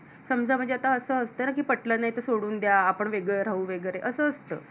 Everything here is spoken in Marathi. समझा म्हणजे आता असत ना कि पटलं नाही तर सोडून द्या आपण वेगळे राहू वगेरे असं असत.